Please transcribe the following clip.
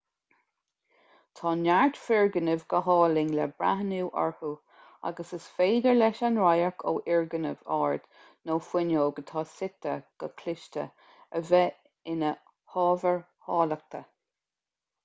tá neart foirgnimh go hálainn le breathnú orthu agus is féidir leis an radharc ó fhoirgneamh ard nó fuinneog atá suite go cliste a bheith ina hábhar áilleachta